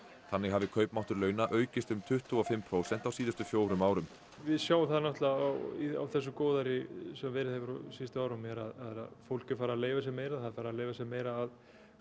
þannig hafi kaupmáttur launa aukist um tuttugu og fimm prósent á síðustu fjórum árum við sjáum það náttúrulega á á þessu góðæri sem verið hefur á síðustu árum að fólk er farið að leyfa sér meira það er farið að leyfa sér meira af